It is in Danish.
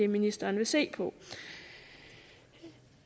ministeren vil se på